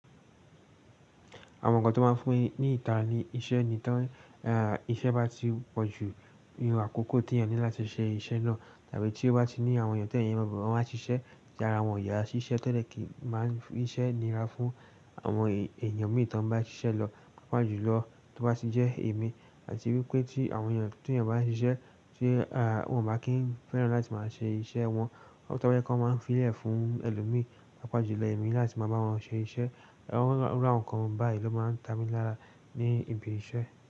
Àwọn nǹkan tó máa ń fún ni ìtara ní iṣẹ́ ni tán. Iṣẹ́ bá ti pọ̀jù irun àkókò tí èèyàn ní láti ṣe iṣẹ́ náà tàbí tí ó bá ti ní àwọn èèyàn tó èèyàn mọ̀ wọ́n máa ṣiṣẹ́ tára wọn ò yá síṣẹ́ tẹ́lẹ̀ kì í máa ń fi iṣẹ́ nira fún àwọn èèyàn míì t'ọ́n bá ṣiṣẹ́ lọ, pàápàá jùlọ tó bá ti jẹ́ èmi àti wípé tí àwọn èèyàn téèyàn ń bá ṣiṣẹ́ tí wọ́n ò bá kì ń fẹ́ràn láti máa ṣe iṣẹ́ wọn, tó bá jẹ́ pé wọ́n máa ń fiìlẹ̀ fún ẹlòmíì, pàápàá jùlọ èmi láti máa bá wọn ṣe iṣẹ́. Àwọn, irú àwọn nǹkan báyìí ló máa ń ta mi lára ní ibi iṣẹ́.